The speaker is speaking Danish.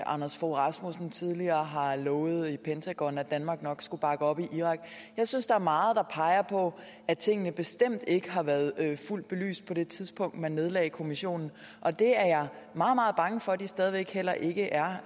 anders fogh rasmussen tidligere har lovet pentagon at danmark nok skulle bakke op i irak jeg synes der er meget der peger på at tingene bestemt ikke har været fuldt belyst på det tidspunkt man nedlagde kommissionen og det er jeg meget meget bange for de stadig væk heller ikke er